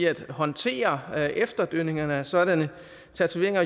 at håndtere efterdønningerne af sådanne tatoveringer